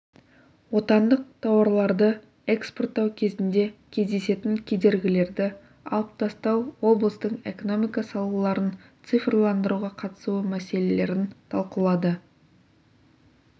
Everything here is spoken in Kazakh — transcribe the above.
отандық тауарларды экспорттау кезінде кездесетін кедергілерді алып тастау облыстың экономика салаларын цифрландыруға қатысуы мәселелерін талқылады